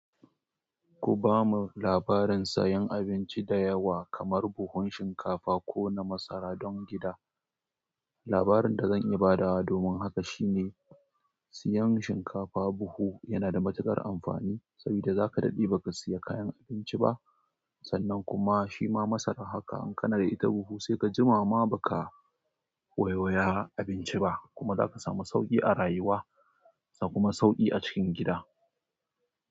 Ku ba mu labarin sayan abinci da yawa kamar buhun shinkafa ko na masara don gida. Labarin da zan iya badawa domin haka shine siyan shinkafa buhu yana da matuƙar amfani saboda za ka daɗe baka siya kayan abinci ba. Sannan kuma shi ma masara haka in kana da ita buhu sai ka jima ma baka waiwaya abinci ba kuma za ka samu sauƙi a rayuwa ka kuma sauƙi a cikin gida.